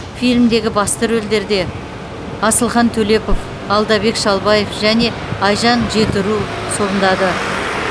фильмдегі басты рөлдерді асылхан төлепов алдабек шалбаев және айжан жетіру сомдады